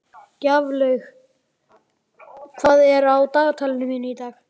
Gjaflaug, hvað er á dagatalinu mínu í dag?